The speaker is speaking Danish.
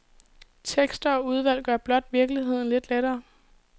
Tekster og udvalg gør blot virkeligheden lidt lettere.